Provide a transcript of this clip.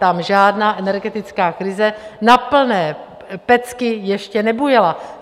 Tam žádná energetická krize na plné pecky ještě nebujela.